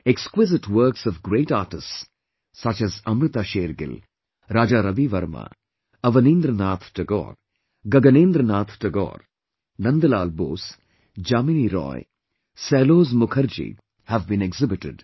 Exquisite works of great artists such as Amrita Shergill, Raja Ravi Verma, Avanindranath Tagore, Gaganendranath Tagore, Nandalal Bose, Jamini Roy, Sailoz Mukherjee have been exhibited